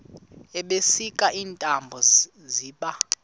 ebusika iintaba ziba